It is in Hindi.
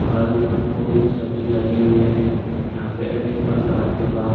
फल-फूल सभी लगे हुए हैं। यहाँ पे अनेक प्रकार के बाग --